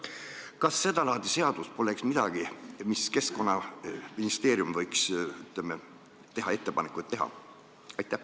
Kas seda laadi seadus poleks midagi, mille tegemiseks Keskkonnaministeerium võiks ettepanekuid teha?